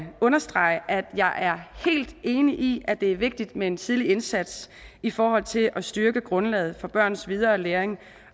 understrege at jeg er helt enig i at det er vigtigt med en tidlig indsats i forhold til at styrke grundlaget for børns videre læring